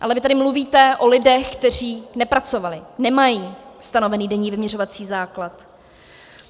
Ale vy tady mluvíte o lidech, kteří nepracovali, nemají stanovený denní vyměřovací základ.